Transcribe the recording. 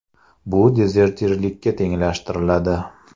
Bu dezertirlikka tenglashtiriladi.